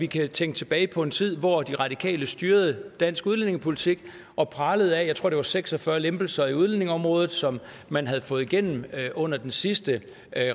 kan vi tænke tilbage på en tid hvor de radikale styrede dansk udlændingepolitik og pralede af jeg tror det var seks og fyrre lempelser på udlændingeområdet som man havde fået igennem under den sidste